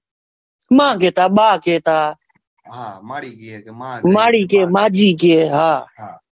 માં કહેતા બા કહેતા માડી કે માજી હા